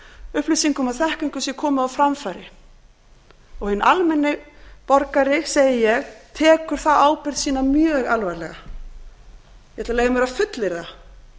upplýsingum og þekkingu sé komið á framfæri og hinn almenni borgari segi ég tekur þá ábyrgð sína mjög alvarlega ég ætla að leyfa mér að fullyrða